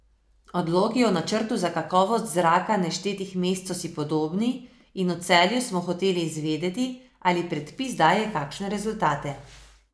Odloki o načrtu za kakovost zraka naštetih mest so si podobni in v Celju smo hoteli izvedeti, ali predpis daje kakšne rezultate.